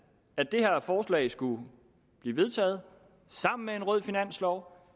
at det her forslag skulle blive vedtaget sammen med en rød finanslov